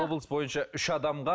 облыс бойынша үш адамға